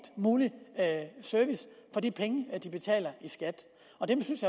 mulig service for de penge de betaler i skat og der synes